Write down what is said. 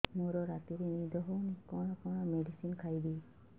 ମୋର ରାତିରେ ନିଦ ହଉନି କଣ କଣ ମେଡିସିନ ଖାଇବି